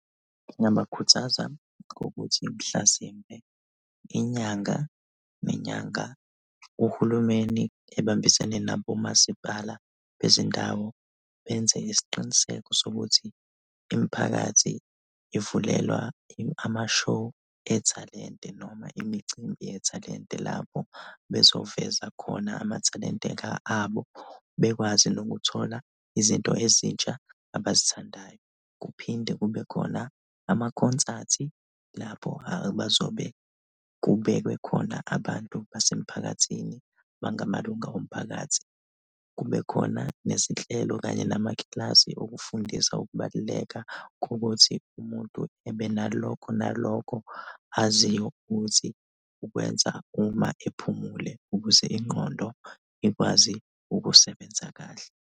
Ngingabakhuthaza ngokuthi mhlasimpe inyanga nenyanga uhulumeni ebambisene nabomasipala bezindawo, benze isiqiniseko sokuthi imiphakathi ivulelwa ama-show ethalente noma imicimbi yethalente lapho bezoveza khona amathalente abo, bekwazi nokuthola izinto ezintsha abazithandayo. Kuphinde kube khona amakhonsathi lapho bazobe kubekwe khona abantu basemphakathini bangamalunga omphakathi, kubekhona nezinhlelo kanye namakilasi okufundisa ukubaluleka kokuthi umuntu ebe nalokho nalokho aziyo ukuthi ukwenza uma ephumule ukuze ingqondo ikwazi ukusebenza kahle.